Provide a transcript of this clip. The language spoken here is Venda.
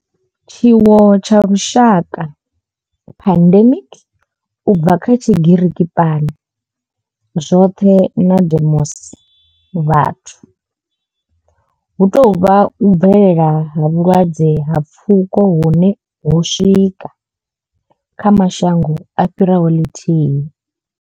Tshiwo tsha lushaka pandemic, u bva kha Tshigiriki pan, zwoṱhe na demos, vhathu hu tou vha u bvelela ha vhulwadze ha pfuko hune ho swika kha mashango a fhiraho ḽithihi.